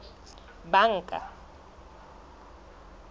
banka